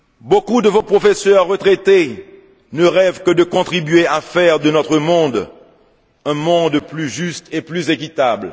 Beaucoup de vos professeurs retraités ne rêvent que de contribuer à faire de notre monde un monde plus juste et plus équitable.